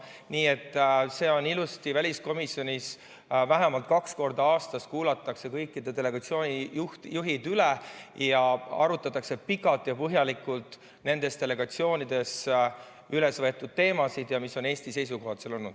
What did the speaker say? Nii et see on ilusti väliskomisjonis, vähemalt kaks korda aastas kuulatakse kõikide delegatsioonide juhid üle ning arutatakse pikalt ja põhjalikult nendes delegatsioonides üles võetud teemasid ja seda, mis on Eesti seisukohad seal olnud.